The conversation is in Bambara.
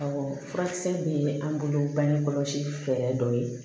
furakisɛ min ye an bolo bangekɔlɔsi fɛɛrɛ dɔ ye